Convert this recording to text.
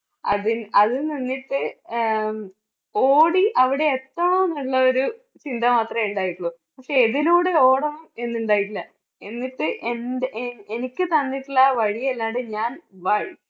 അതിൽ, അത് നിന്നിട്ട് അഹ് ഉം ഓടി അവിടെ എത്താന്നുള്ള ഒരു ചിന്ത മാത്രമേ ഉണ്ടായിട്ടുള്ളൂ. പക്ഷേ എതിലൂടെ ഓടണം എന്നുണ്ടായിട്ടില്ല എന്നിട്ട് എൻറെ എ~എനിക്ക് തന്നിട്ടുള്ള വഴിയല്ലാണ്ട് ഞാൻ വഴി